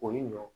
O ye ɲɔ